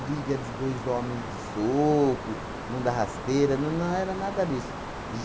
Briga de dois homens de soco, um da rasteira, nã não era nada disso.